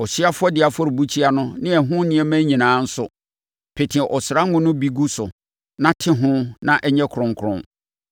Ɔhyeɛ afɔdeɛ afɔrebukyia no ne ɛho nneɛma nyinaa nso, pete ɔsra ngo no bi gu so na te ho na ɛnyɛ kronkron.